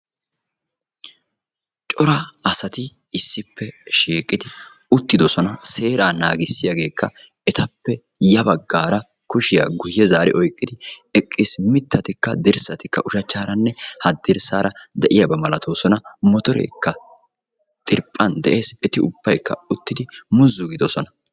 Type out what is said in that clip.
cora asati issippe shiiqqidi uttidoosona; seeraa naagissiyaagekka etappe ya baggara kushiyaa guyye zaari oyqqidi eqqiis; mittatikka dirssatikka ushachcharanne haddirssara de'iyaaba malatoosona; motorekka xirphphan de'ees eti ubbaykka uttidi mozzu giidoosona.